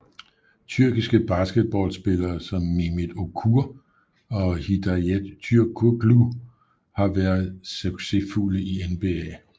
Tyrkiske basketballspillere som Mehmet Okur og Hidayet Türkoğlu har og været succesfulde i NBA